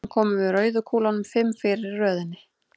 Síðan komum við rauðu kúlunum fimm fyrir í röðinni.